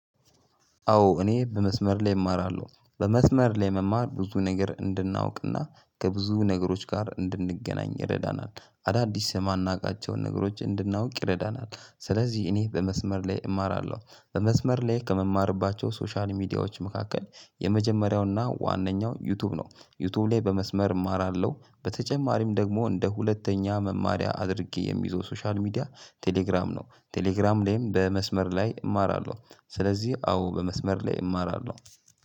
አዎ እኔ በመስመር ላይ እማራለሁ በመስመር ላይ መማር ብዙ ነገር እንድናውቅና ከብዙ ነገሮች ጋር እንድንገናኝ ይረዳናል። አዳዲስ የማናውቃቸውን ነገሮች እንድናውቅ ይረዳናል። ስለዚህ እኔ በመስመር ላይ እማራለሁ በመስመር ላይ ከምማርባቸው ሶሻል ሚዲያዎች መካከል የመጀመሪያውና ዋነኛው ዩቲዩብ ነው። ዩቲዩብ ላይ በመስመር እማራለሁ በተጨማሪም ደግሞ እንደ ሁለተኛ መማሪያ አድርጌ የሚይዘው ሶሻል ሚዲያ ቴሌግራም ነው። ቴሌግራም ላይም በመስመር ላይ እማራለሁ ስለዚህ አዎ በመስመር ላይ እማራለሁ።